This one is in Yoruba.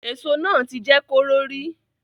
Èso náà ti jẹ́ kóró rí